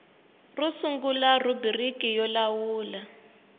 ro sungula rhubiriki yo lawula